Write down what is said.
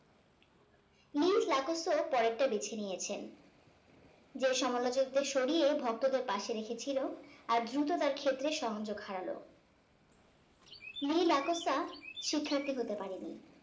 . পরের টা বেছে নিয়েছেন যে সমালোচক দের সরিয়ে ভক্ত দের পশে রেখেছিলো আর দ্রুত তার ক্ষেত্রে সংযোগ হারালো নীল . শিক্ষার্থী হতে পারেন নি